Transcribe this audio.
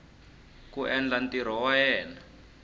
ku endla ntirho wa yena